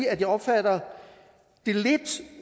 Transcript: at jeg opfatter det lidt